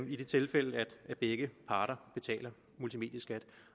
i det tilfælde at begge parter betaler multimedieskat